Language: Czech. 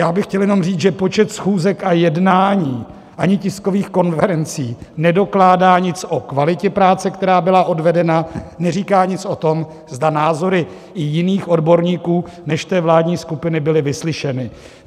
Já bych chtěl jenom říct, že počet schůzek a jednání ani tiskových konferencí nedokládá nic o kvalitě práce, která byla odvedena, neříká nic o tom, zda názory i jiných odborníků než té vládní skupiny byly vyslyšeny.